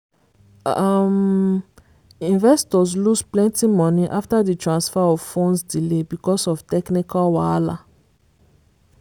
um investors lose plenty money after di transfer of funds delay because of technical wahala.